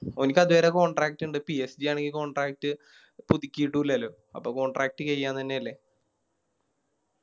ഓലിക്കത് വരെ Contract ഇണ്ട് PSG ആണെങ്കി Contract പുതുക്കിട്ടു ഇല്ലാലോ അപ്പൊ Contract കേഴിയാൻ തന്നെയല്ലേ